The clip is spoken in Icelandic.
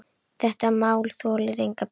Þetta mál þolir enga bið.